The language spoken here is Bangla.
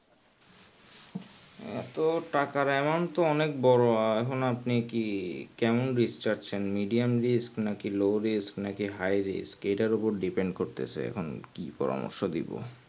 আহ তো টাকার amount তো অনেক বোরো আহ হু তো আপনি কি কেমন risk চাচ্ছেন medium risk কি low risk নাকি high risk এটার উপর depend করতেছে এখন কি পরার্মশ দিবো